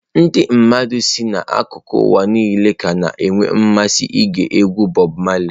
Ndị mmadụ si n'akụkụ ụwa niile ka na-enwe mmasị ige egwu Bob Marley.